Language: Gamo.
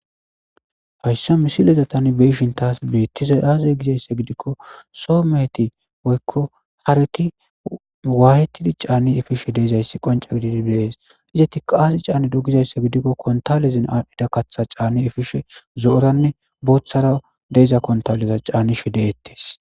Hayssa misileza tani beishin taas beettiza aazey gizayssa gidikko soo meeti woykko hareti waayetidi caanni efishe deezayssi qonca gididi bees izeti kaazi caanni dogizayssa gidikko kontalezin aadhphida katha caanni efishe zo'oranne booththara deeza kontalleza caanishe deettes.